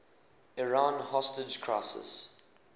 iran hostage crisis